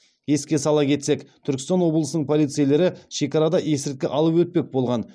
еске сала кетсек түркістан облысының полицейлері шекарада есірткі алып өтпек болған